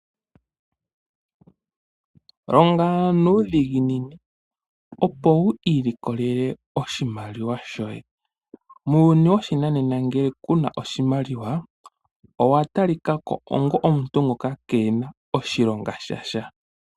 Longa nuudhiginini opo wu ilikolele oshimaliwa shoye. Muuyuni woshinanena ngele ku na oshimaliwa owa talikako onga omuntu ngoka keena oshilonga sha sha.